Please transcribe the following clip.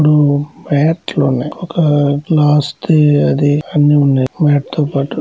Mat లున్నాయ్. ఒక mat తో పాటు.